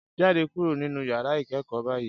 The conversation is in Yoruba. Jáde kúrò nínú yàrá ìkẹ́kọ̀ọ́ báyìí